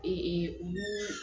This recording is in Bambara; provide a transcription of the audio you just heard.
olu